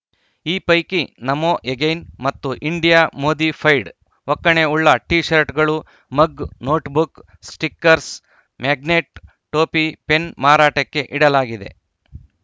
ಈ ಪೈಕಿ ನಮೋ ಎಗೈನ್‌ ಮತ್ತು ಇಂಡಿಯಾ ಮೋದಿಫೈಡ್‌ ಒಕ್ಕಣೆ ಉಳ್ಳ ಟೀ ಶರ್ಟ್‌ಗಳು ಮಗ್‌ ನೋಟ್‌ಬುಕ್‌ ಸ್ಟಿಕ್ಕರ್‍ಸ್ ಮ್ಯಾಗ್ನೆಟ್‌ ಟೋಪಿ ಪೆನ್‌ ಮಾರಾಟಕ್ಕೆ ಇಡಲಾಗಿದೆ